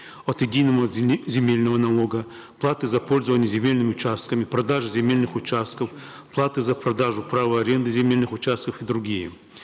от единого земельного налога платы за пользование земельными участками продажа земельных участков платы за продажу права аренды земельных участков и другие